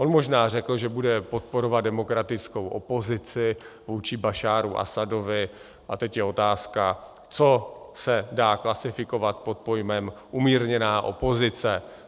On možná řekl, že bude podporovat demokratickou opozici vůči Bašáru Asadovi, a teď je otázka, co se dá klasifikovat pod pojmem umírněná opozice.